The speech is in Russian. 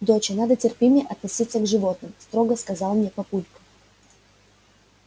доча надо терпимее относиться к животным строго сказал мне папулька